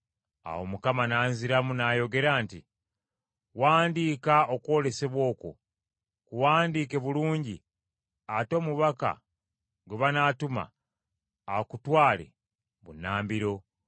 Awo Mukama n’anziramu n’ayogera nti, “Wandiika okwolesebwa okwo ku bipande. Kuwandiike bulungi ate omubaka gwe banaatuma, akutwale bunnambiro.